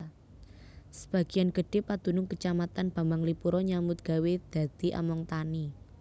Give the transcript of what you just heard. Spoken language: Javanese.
Sebagian gedhé padunung Kacamatan Bambanglipuro nyambut gawé dadi among tani